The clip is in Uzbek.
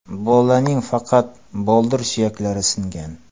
Bolaning faqat boldir suyaklari singan.